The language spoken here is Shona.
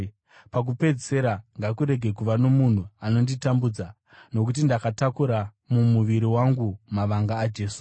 Pakupedzisira, ngakurege kuva nomunhu anonditambudza, nokuti ndakatakura mumuviri wangu mavanga aJesu.